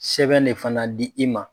Sɛbɛn de fana di i ma.